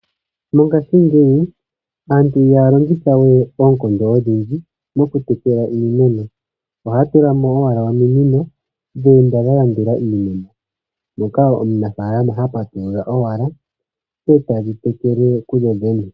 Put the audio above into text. Mongashingeyi aantu ihaya longitha we oonkondo odhindji moku tekela iimeno. Ohay tulamo owala ominino, dha enda wala dha landula iimeno, moka omunafalama oha patulula owala, dho tadhi tekele kudho dhene.